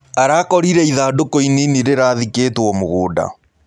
Arakorĩre ĩthandũkũ ĩnĩnĩ rĩrathĩkĩtwo mũgũnda.